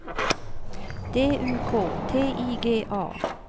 D U K T I G A